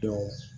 Don